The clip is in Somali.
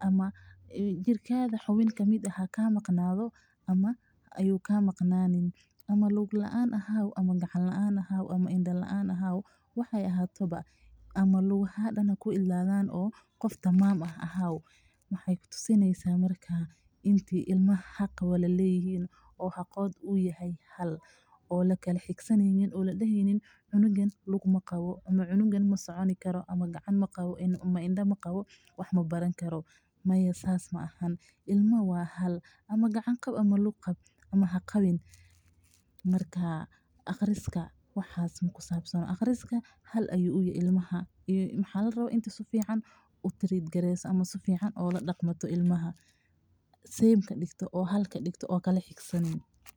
ama Taman ahaaw waxaay ku tusi haysa inuu xaqooda hal yahay ama gacan qab ama haqabin aqriska hal ayuu uyahay ilmaha oo aad hal kadigto.